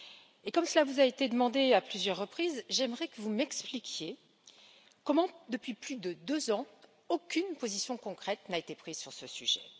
Et comme cela vous a été demandé à plusieurs reprises, j'aimerais que vous m'expliquiez comment, depuis plus de deux ans, aucune position concrète n'a été prise sur ce sujet.